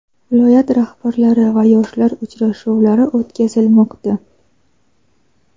viloyat rahbarlari va yoshlar uchrashuvlari o‘tkazilmoqda.